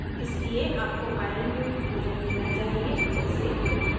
इसलिए आपको iron युक्त भोजन लेना चाहिए जैसे